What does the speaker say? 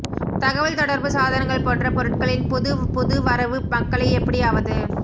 தகவல் தொடர்பு சாதனங்கள் போன்ற பொருட்களின் புது புது வரவு மக்களை எப்படியாவது